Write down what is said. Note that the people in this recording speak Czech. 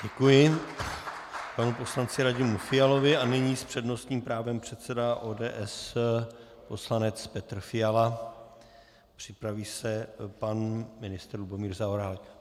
Děkuji panu poslanci Radimu Fialovi a nyní s přednostním právem předseda ODS poslanec Petr Fiala, připraví se pan ministr Lubomír Zaorálek.